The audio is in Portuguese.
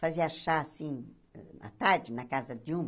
Fazia chá assim, na tarde, na casa de uma.